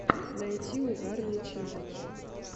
найти угарные челленджи